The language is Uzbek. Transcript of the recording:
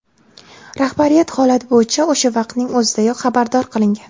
Rahbariyat holat bo‘yicha o‘sha vaqtning o‘zidayoq xabardor qilingan.